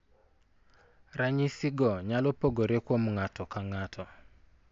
Ranyisigo nyalo pogore kuom ng'ato ka ng'ato.